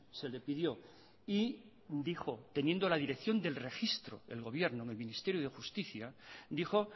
se le pidió y dijo teniendo la dirección del registro el gobierno en el ministerio de justicia dijo